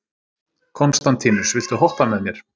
Konstantínus, viltu hoppa með mér?